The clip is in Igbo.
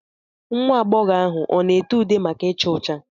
Nwa agbọghọ ahụ ọ na ete ude maka icha ọcha?